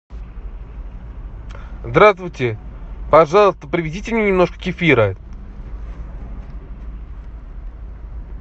здравствуйте пожалуйста привезите мне немножко кефира